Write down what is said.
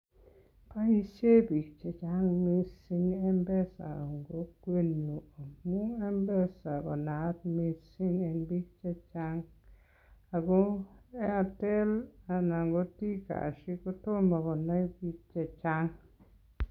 Boishen biik chechang mising Mpesa en kokwenyun amun Mpesa ko naat mising en biik chechang. Ago Airtel anan ko T-kash ko tomo konai biik chechang.